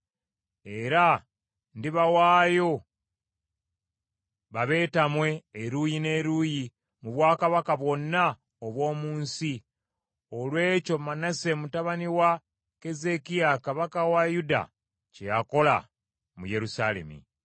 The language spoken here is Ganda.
Era ndibawaayo babeetamwe eruuyi n’eruuyi mu bwakabaka bwonna obw’omu nsi olw’ekyo Manase mutabani wa Keezeekiya kabaka wa Yuda kye yakola mu Yerusaalemi.